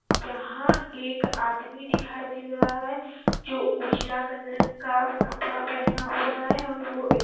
यहाँ एक आदमी दिखाई दे रहा है जो उजला कलर का कपड़ा पहना हुआ है और वो एक--